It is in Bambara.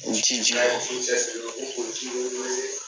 U ti jija ko ji